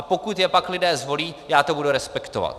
A pokud je pak lidé zvolí, já to budu respektovat.